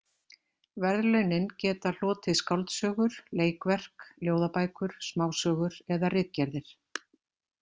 Verðlaunin geta hlotið skáldsögur, leikverk, ljóðabækur, smásögur eða ritgerðir.